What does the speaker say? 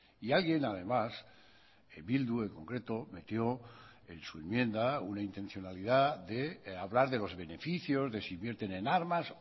y alguien además bildu en concreto metió en su enmienda una intencionalidad de hablar de los beneficios de si invierten en armas